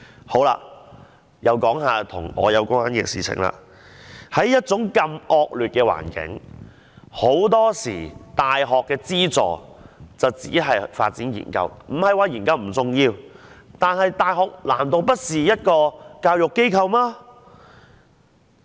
再說一些與我有關的事情，在這麼惡劣的環境下，很多時大學資助只是發展研究——我不是說研究不重要——但難道大學不是教育機構嗎？